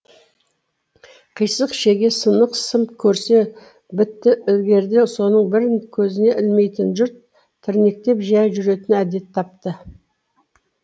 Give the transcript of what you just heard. қисық шеге сынық сым көрсе бітті ілгеріде соның бірін көзіне ілмейтін жұрт тірнектеп жия жүретін әдет тапты